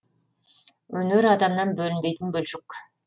өнер адамнан бөлінбейтін бөлшек